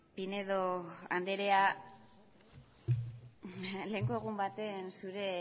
pinedo anderea lehenengo egun baten zure